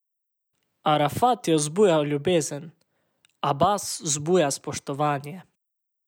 Arafat je vzbujal ljubezen, Abas vzbuja spoštovanje.